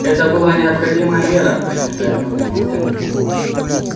это была необходимая мера принятая в нужный момент